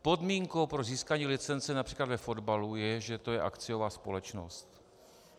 Podmínkou pro získání licence například ve fotbalu je, že to je akciová společnost.